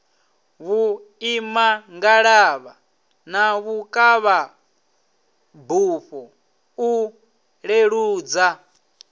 vhuimangalavha na vhukavhabufho u leludza